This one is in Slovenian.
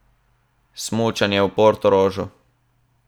Smučanje v Portorožu?